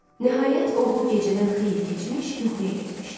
Nəhayət, oğlu gecədən xeyli keçmiş yuxuya getmişdi.